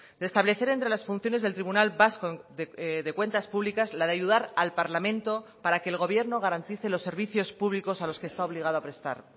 de establecer entre las funciones del tribunal vasco de cuentas públicas la de ayudar al parlamento para que el gobierno garantice los servicios públicos a los que está obligado a prestar